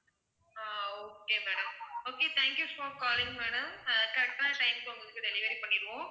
ah okay madam okay thank you for calling madam uh correct டான time க்கு உங்களுக்கு delivery பண்ணிடுவோம்